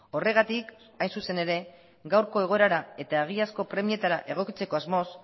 horregatik hain zuzen ere gaurko egoerara eta egiazko premietara egokitzeko asmoz